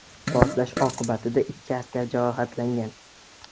Portlash oqibatida ikki askar jarohatlangan.